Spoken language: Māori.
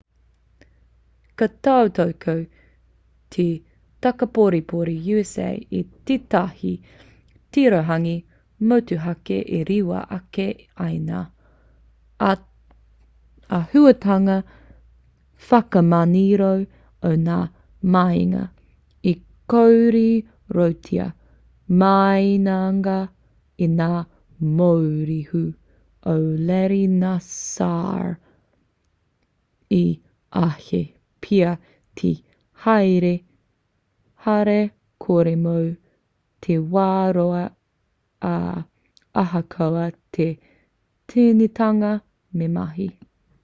ka tautoko te takaporepore usa i tētahi tirohanga motuhake e rewa ake ai ngā āhutanga whakamanioro o ngā mahinga i kōrerotia māiangia e ngā mōrehu o larry nassar i āhei pea te haere hara kore mō te wā roa ā ahakoa te tīnitanga me mahi